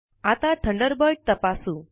आता थंडरबर्ड तपासू